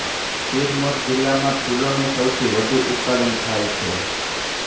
સિરમૌર જિલ્લામાં ફુલોનું સૌથી વધુ ઉત્પાદન થાય છે